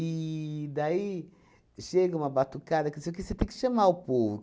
daí chega uma batucada que isso aqui você tem que chamar o povo.